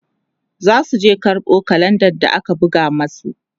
zasu je karɓo kalenda da aka buga masu